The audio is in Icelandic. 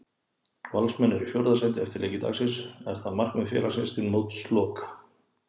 Valsmenn eru í fjórða sæti eftir leiki dagsins, er það markmið félagsins til mótsloka?